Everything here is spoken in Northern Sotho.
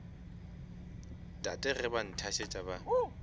tate ge ba nthasetša ba